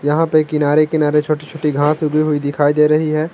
यहां पे किनारे किनारे छोटी छोटी घांस उगी हुई दिखाई दे रही है।